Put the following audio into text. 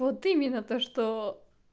вот именно то что